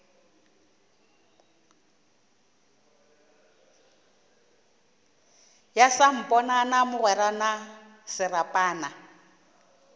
ya samponana mogwera na serapana